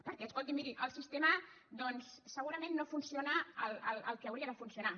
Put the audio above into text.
perquè escolti miri el sistema segurament no funciona el que hauria de funcionar